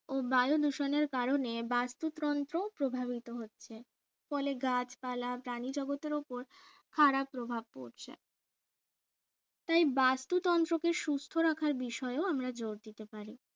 ও বায়ু দূষণের কারণে বাস্তুতন্ত্র প্রভাবিত হচ্ছে ফলে গাছপালা প্রাণী জগতের উপর খাড়া প্রভাব পড়ছে তাই বাস্তুতন্ত্রকে সুস্থ রাখার বিষয়েও আমরা জোর দিতে পারি